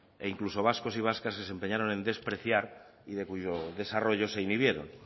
e incluso vascos y vascas que se empeñaron en despreciar y de cuyo desarrollo se inhibieron